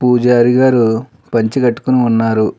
పూజారి గారు పంచ కట్టుకొని ఉన్నారు.